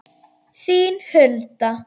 Þín Hulda.